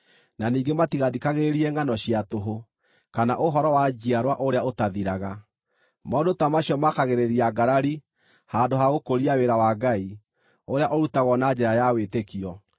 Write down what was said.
na ningĩ matigathikagĩrĩrie ngʼano cia tũhũ, kana ũhoro wa njiarwa ũrĩa ũtathiraga. Maũndũ ta macio makagĩrĩria ngarari handũ ha gũkũria wĩra wa Ngai, ũrĩa ũrutagwo na njĩra ya wĩtĩkio.